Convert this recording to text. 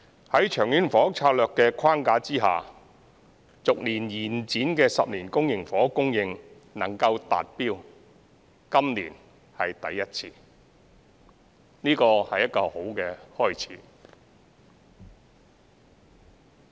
在《長遠房屋策略》的框架下，逐年延展的10年公營房屋供應，今年是第一次能夠達標，這是一個好的開始。